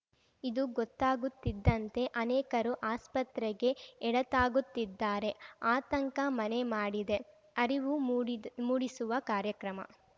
ಇದು ಗೊತ್ತಾಗುತ್ತಿದ್ದಂತೆ ಅನೇಕರು ಆಸ್ಪತ್ರೆಗೆ ಎಡತಾಗುತ್ತಿದ್ದಾರೆ ಆತಂಕ ಮನೆ ಮಾಡಿದೆ ಅರಿವು ಮೂಡಿದು ಮೂಡಿಸುವ ಕಾರ್ಯಕ್ರಮ